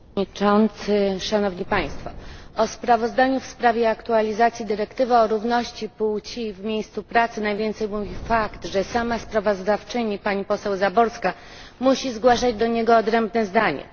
Panie Przewodniczący! O sprawozdaniu w sprawie aktualizacji dyrektywy o równości płci w miejscu pracy najwięcej mówi fakt, że sama sprawozdawczyni pani poseł Záborská musi zgłaszać do niego odrębne zdanie.